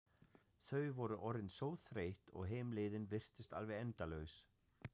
Þau voru orðin svo þreytt og heimleiðin virtist alveg endalaus.